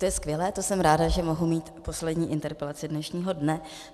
To je skvělé, to jsem ráda, že mohu mít poslední interpelaci dnešního dne.